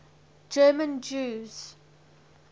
german jews